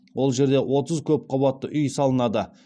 ол жерде отыз көп қабатты үй салынады